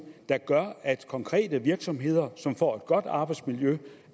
der gør at konkrete virksomheder som får et godt arbejdsmiljø